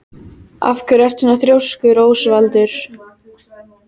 Af hverju ertu svona þrjóskur, Ósvaldur?